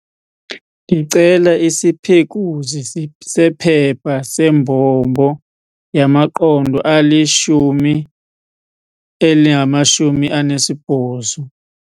Ndicela isiphekuzi sephepha sembombo yamaqondo ali-180.